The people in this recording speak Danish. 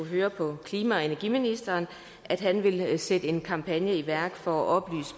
høre på klima og energiministeren at han vil sætte en kampagne i værk for at